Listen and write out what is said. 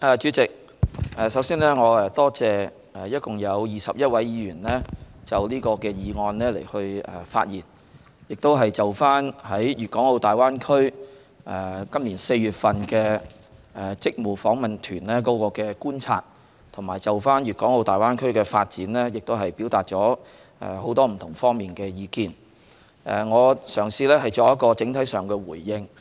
主席，我首先感謝共21位議員在此議案辯論發言，就今年4月的粵港澳大灣區職務訪問團作出觀察，並對粵港澳大灣區發展表達很多不同方面的意見。我嘗試作一個整體的回應。